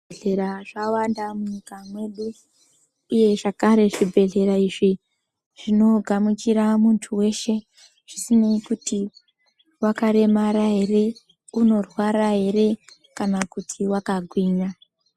Zvi bhedhlera zvawanda mu nyika mwedu uye zvakare zvi bhedhlera izvi zvino gamuchira muntu weshe zvisinei kuti wakaremara ere uno rwara ere kana kuti waka gwinya.